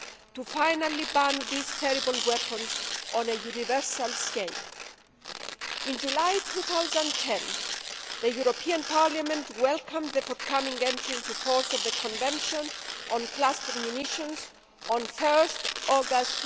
to finally ban these terrible weapons on a universal scale. In July 2010, the European Parliament welcomed the forthcoming entry into force of the Convention on Cluster Munitions on 1 August